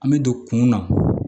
An bɛ don kun na